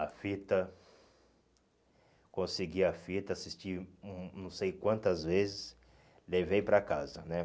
A fita, consegui a fita, assisti não não sei quantas vezes, levei para casa, né?